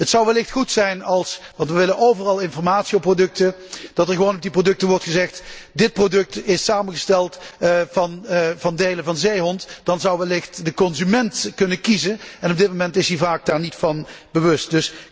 Het zou wellicht goed zijn want we willen overal informatie op producten dat er gewoon op de producten wordt vermeld dat het product is samengesteld uit delen van zeehonden, dan zou wellicht de consument kunnen kiezen en op dit moment is die zich er vaak niet van bewust.